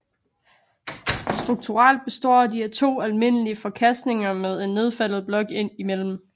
Strukturelt består de af to almindelige forkastninger med en nedfaldet blok imellem